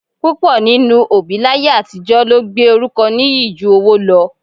Púpọ̀ nínú òbí láyé àtijọ́ ló gbé orúkọ nìyí ju owó lọ